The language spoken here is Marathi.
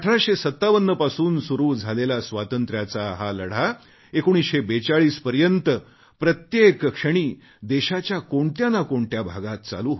1857 पासून सुरू झालेला स्वातंत्र्याचा हा लढा 1942 पर्यंत प्रत्येक क्षणी देशाच्या कोणत्या ना कोणत्या भागात चालू होता